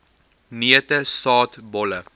neute saad bolle